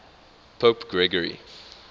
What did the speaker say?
pope gregory